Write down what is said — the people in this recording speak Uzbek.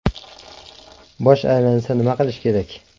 Bosh aylansa, nima qilish kerak?.